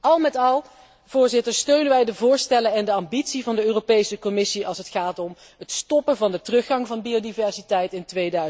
Al met al steunen wij de voorstellen en de ambitie van de Europese Commissie als het gaat om het stoppen van de teruggang van biodiversiteit in